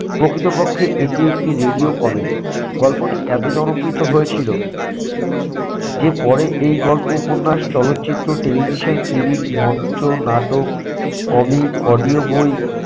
প্রকৃতপক্ষে এটি একটি radio comedy গল্পটি এত জনপ্রিত হয়েছিল যে পরে এই গল্প উপন্যাস, চলচ্চিত্র, television series, মঞ্চ নাটক, comic, audio বই